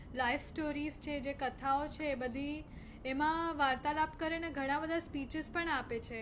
life stories છે જે કથાઓ છે એ બધી એમાં વાર્તાલાપ કરે ને ઘણા બધા speeches પણ આપે છે.